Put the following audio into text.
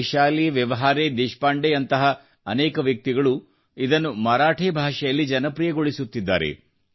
ವೈಶಾಲಿ ವ್ಯವಹಾರೇ ದೇಶಪಾಂಡೆಯಂತಹ ಅನೇಕ ವ್ಯಕ್ತಿಗಳು ಇದನ್ನು ಮರಾಠಿ ಭಾಷೆಯಲ್ಲಿ ಜನಪ್ರಿಯಗೊಳಿಸುತ್ತಿದ್ದಾರೆ